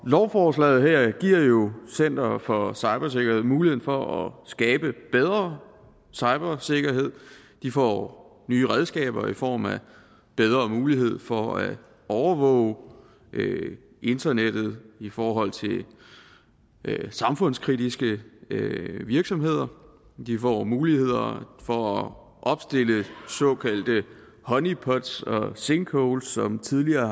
lovforslaget giver jo center for cybersikkerhed muligheder for at skabe bedre cybersikkerhed de får nye redskaber i form af bedre mulighed for at overvåge internettet i forhold til samfundskritiske virksomheder de få muligheder for at opstille såkaldte honeypots og sinkholes som tidligere